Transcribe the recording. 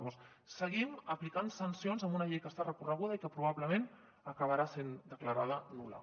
llavors seguim aplicant sancions amb una llei que està recorreguda i que probablement acabarà sent declarada nul·la